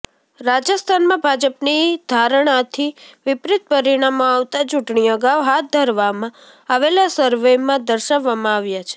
રાજસ્થાનમાં ભાજપની ધારણાથી વિપરીત પરિણામો આવતા ચૂંટણી અગાઉ હાથ ધરવામાં આવેલા સર્વેમાં દર્શાવવામાં આવ્યા છે